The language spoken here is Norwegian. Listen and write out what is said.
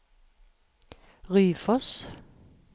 Ryfoss